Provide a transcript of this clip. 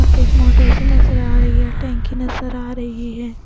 आप एक मोटर से नज़र आ रही है टैंकी नज़र आ रही है।